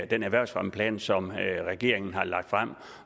den erhvervsfremmeplan som regeringen har lagt frem